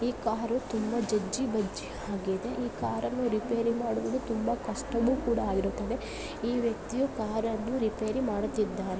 ಈ ಕಾರು ತುಂಬಾ ಜಜ್ಜಿ ಬಜ್ಜಿಯಾಗಿದೆ ಈ ಕಾರನ್ನು ರಿಪೇರಿ ಮಾಡುವುದು ತುಂಬಾ ಕಷ್ಟವೂ ಕೂಡ ಇರುತ್ತದೆ. ಈ ವ್ಯಕ್ತಿಯು ಕಾರನ್ನು ರಿಪೇರಿ ಮಾಡುತ್ತಿದ್ದಾನೆ.